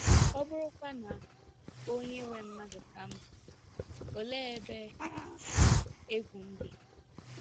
ọ bụrụkwa na onye nwe mmadụ ka m bụ, olee ebe egwu m dị?